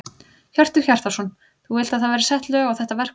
Hjörtur Hjartarson: Þú vilt að það verði sett lög á þetta verkfall?